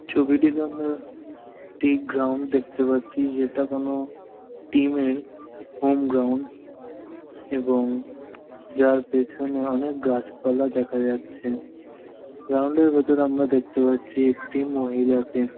ছবিটিতে আমরা একটি গ্রাউন্ড দেখতে পাচ্ছি যেটা কোন টিম এর হোম গ্রাউন্ড এবং যার পেছনে অনেক গাছপালা দেখা যাচ্ছে গ্রাউন্ড এর ভেতর আমরা দেখতে পাচ্ছি একটি মহিলাকে।